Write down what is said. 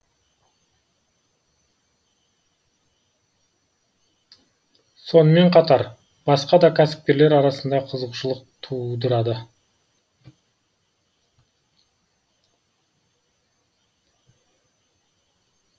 сонымен қатар басқа да кәсіпкерлер арасында қызығушылық тудырады